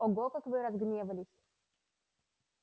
ого как вы разгневались